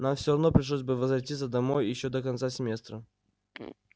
нам всё равно пришлось бы возвратиться домой ещё до конца семестра